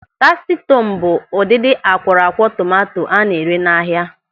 Tasti Tọm bụ ụdịdị akwọrọakwọ tomanto a na-ere n'ahia.